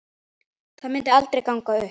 Það myndi aldrei ganga upp.